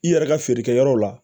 I yɛrɛ ka feerekɛyɔrɔ la